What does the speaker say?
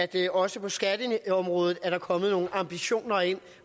der også på skatteområdet er kommet nogle ambitioner ind